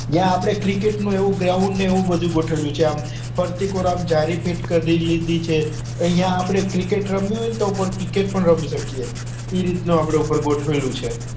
જ્યાં આપડે cricket નું એવું ground ને એવું બધું ગોઠવ્યું છે આમ ફરતી કોર આંમ જારી fit કર દીધી છે અહિયાં આપડે cricket રમવી હોય ને તો cricket પણ રમી શકીએ એ રીત નું આપડે ઉપર ગોઠવ્યું છે